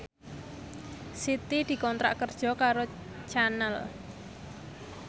Siti dikontrak kerja karo Channel